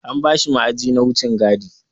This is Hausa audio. An bashi ma'aji na wucin gadi.